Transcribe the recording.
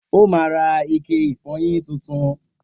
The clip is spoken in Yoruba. O má ra ike ìfọyín titun